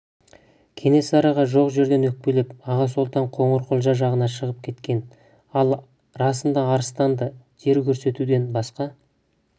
кенесарыға жоқ жерден өкпелеп аға сұлтан қоңырқұлжа жағына шығып кеткен ал расында арыстанда жер көрсетуден басқа